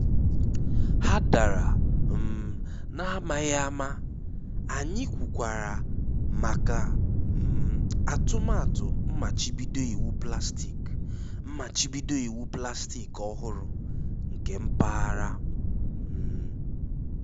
Há dàrà um n’amaghị ama, anyị kwùkwàrà maka um atụmatụ mmachibido iwu plastik mmachibido iwu plastik ọ́hụ́rụ nke mpaghara. um